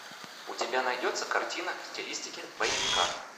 у тебя найдется картина в стилистике боевика